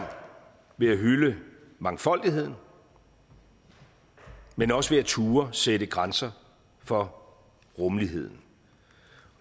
ved at hylde mangfoldigheden men også ved at turde sætte grænser for rummeligheden